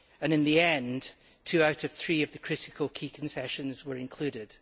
In the end, two out of three of the critical key concessions were included.